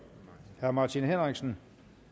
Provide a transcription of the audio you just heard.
herre martin henriksen